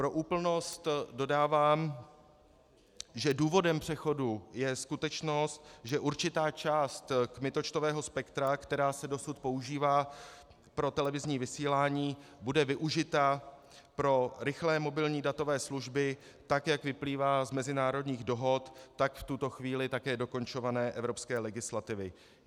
Pro úplnost dodávám, že důvodem přechodu je skutečnost, že určitá část kmitočtového spektra, která se dosud používá pro televizní vysílání, bude využita pro rychlé mobilní datové služby, tak jak vyplývá z mezinárodních dohod, tak v tuto chvíli také dokončované evropské legislativy.